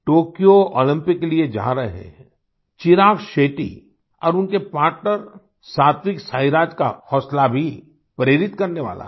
Tokyo Olympic के लिए जा रहे चिराग शेट्टी और उनके पार्टनर सात्विक साईराज का हौसला भी प्रेरित करने वाला है